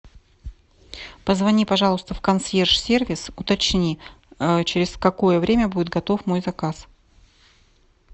позвони пожалуйста в консьерж сервис уточни через какое время будет готов мой заказ